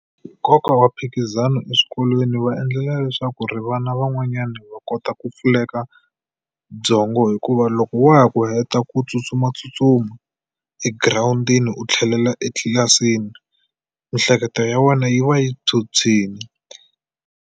Nkoka wa mphikizano eswikolweni va endlela leswaku ri vana van'wanyana va kota ku pfuleka byongo hikuva loko wa ha ku heta ku tsutsumatsutsuma egirawundini u tlhelela etlilasini miehleketo ya wena yi va yi phyuphyile.